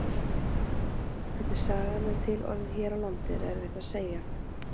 Hvernig sagan er til orðin hér á landi er erfitt að segja.